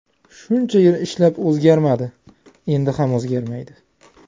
Shuncha yil ishlab o‘zgarmadi, endi ham o‘zgarmaydi.